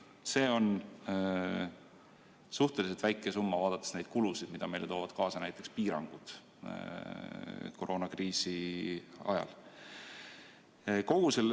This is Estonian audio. See on suhteliselt väike summa, vaadates neid kulusid, mida meile toovad kaasa näiteks piirangud koroonakriisi ajal.